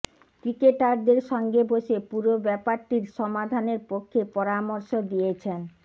ক্রিকেটারদের সঙ্গে বসে পুরো ব্যাপারটির সমাধানের পক্ষে পরামর্শ দিয়েছেন